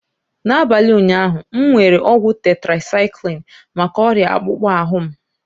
N'abalị ụnyaahụ, m were ọgwụ tetracyclini maka ọrịa akpụkpọ ahụ m.